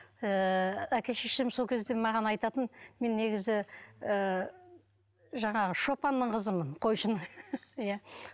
ыыы әке шешем сол кезде маған айтатын мен негізі ыыы жаңағы шопанның қызымын қойшының иә